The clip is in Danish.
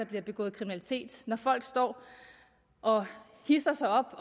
bliver begået kriminalitet når folk står og hidser sig op